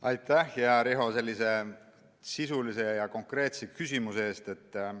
Aitäh, hea Riho, sellise sisulise ja konkreetse küsimuse eest!